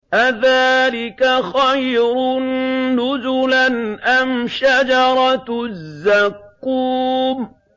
أَذَٰلِكَ خَيْرٌ نُّزُلًا أَمْ شَجَرَةُ الزَّقُّومِ